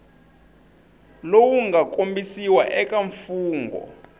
lowu nga kombisiwa eka mfungho